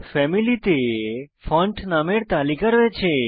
ফ্যামিলিতে ফন্ট নামের তালিকা রয়েছে